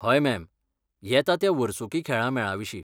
हय, मॅम, येता त्या वर्सुकी खेळां मेळाविशीं.